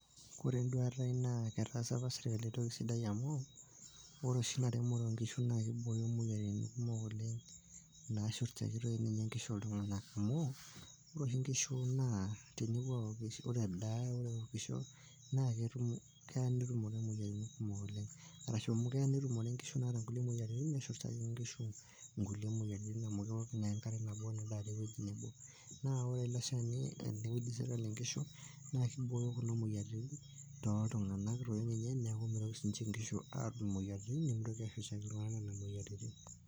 ore enduata ai naa ketaasa apa sirkali entoki sidai amu ore oshi ina remore oonkishu naa kibooyo moyiaritin kumok oleng nashurrtaki toi ninye inkishu iltung'anak amu ore oshi inkishu naa tenepuo awok, ore edaa ore ewokisho naa keya netumore imoyiaritin kumok oleng arashu amu keya netumore inkishu naata nkulie moyiaritin neshurrtaki inkishu inkulie moyiaritin amu kewok naa enkare nabo nedaare ewueji nebo naa ore ele shani eneud sirkali inkishu naa kibooyo kuna moyiaritin toltung'anak toi ninye neeku mitoki sininche inkishu atum imoyiaritin nemitoki ashurrtaki iltung'anak nena moyiaritin.